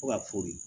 Fo ka fɔ de